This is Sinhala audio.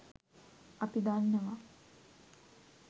අපි දන්නවා